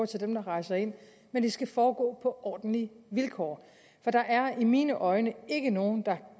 til dem der rejser ind men det skal foregå på ordentlige vilkår for der er i mine øjne ikke nogen der